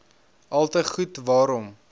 alte goed waarom